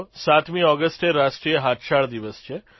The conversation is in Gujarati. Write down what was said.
સાતમી ઓગષ્ટે રાષ્ટ્રીય હાથશાળ દિવસ છે